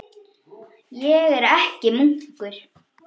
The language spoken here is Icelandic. Ég er ekki munkur.